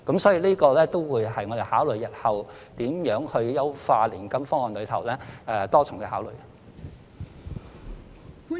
所以，這也會納入我們日後如何優化年金方案的多重考慮。